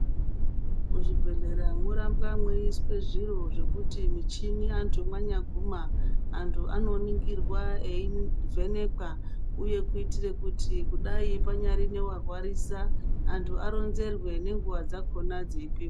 Muzvibhedhlera morambwa muyiswe zviro zvekuti michini , antu yemanyaguma antu anoningirwa ,eyivhenekwa uye kuitire kuti kudai pangari newarwarisa antu aronzerwe nenguva dzakhona dzepepo.